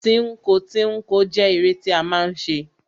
Tínko tínko jẹ́ eré tí a máa ń ṣe.